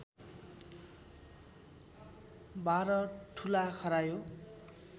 १२ ठूला खरायो